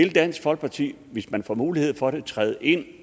i dansk folkeparti hvis man får mulighed for det træde ind